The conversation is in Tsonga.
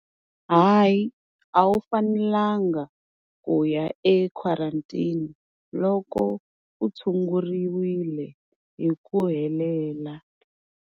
Hayi a wu fanelanga ku ya equarantine loko u tshunguriwile hi ku helela.